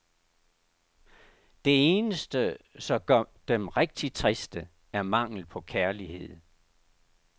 Det eneste, som gør dem rigtigt triste, er mangel på kærlighed.